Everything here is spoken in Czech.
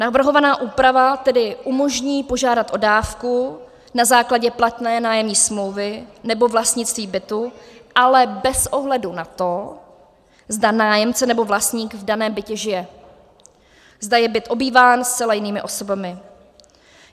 Navrhovaná úprava tedy umožní požádat o dávku na základě platné nájemní smlouvy nebo vlastnictví bytu, ale bez ohledu na to, zda nájemce nebo vlastník v daném bytě žije, zda je byt obýván zcela jinými osobami.